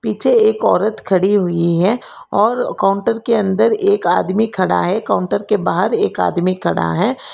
पीछे एक औरत खड़ी हुई है और काउंटर के अंदर एक आदमी खड़ा है काउंटर के बाहर एक आदमी खड़ा है।